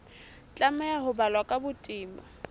tlameha ho balwa ka botebo